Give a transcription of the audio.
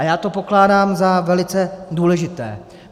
A já to pokládám za velice důležité.